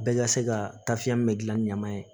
Bɛɛ ka se ka tafiya min bɛ gilan ni ɲaman ye